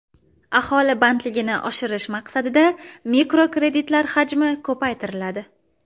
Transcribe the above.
Aholi bandligini oshirish maqsadida mikrokreditlar hajmi ko‘paytiriladi.